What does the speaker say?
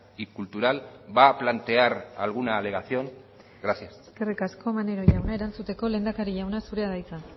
y cultural va a plantear alguna alegación gracias eskerrik asko maneiro jauna erantzuteko lehendakari jauna zurea da hitza